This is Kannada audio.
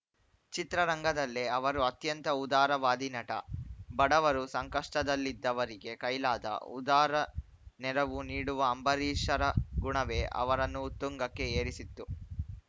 ಚಿತ್ರರಂಗದಲ್ಲೇ ಅವರು ಅತ್ಯಂತ ಉದಾರವಾದಿ ನಟ ಬಡವರು ಸಂಕಷ್ಟದಲ್ಲಿದ್ದವರಿಗೆ ಕೈಲಾದ ಉದಾರ ನೆರವು ನೀಡುವ ಅಂಬರೀಷರ ಗುಣವೇ ಅವರನ್ನು ಉತ್ತುಂಗಕ್ಕೆ ಏರಿಸಿತ್ತು